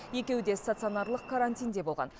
екеуі де стационарлық карантинде болған